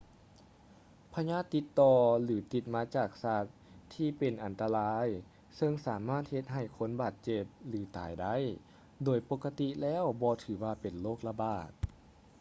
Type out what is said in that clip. ພະຍາດຕິດຕໍ່ ຫຼື ຕິດມາຈາກສັດທີ່ເປັນອັນຕະລາຍ ຊຶ່ງສາມາດເຮັດໃຫ້ຄົນບາດເຈັບ ຫຼື ຕາຍໄດ້ ໂດຍປົກກະຕິແລ້ວບໍ່ຖືວ່າເປັນໂລກລະບາດ